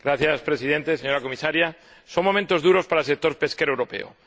Señor Presidente, señora Comisaria, son momentos duros para el sector pesquero europeo.